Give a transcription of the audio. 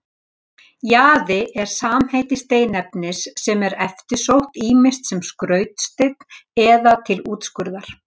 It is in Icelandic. Jaði er samheiti steinefnis sem er eftirsótt ýmist sem skrautsteinn eða til útskurðar.